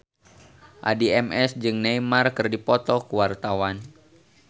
Addie MS jeung Neymar keur dipoto ku wartawan